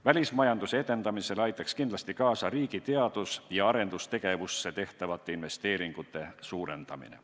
Välismajanduse edendamisel aitaks kindlasti kaasa riigi teadus- ja arendustegevusse tehtavate investeeringute suurendamine.